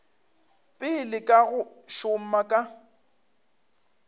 pele ka go šoma ka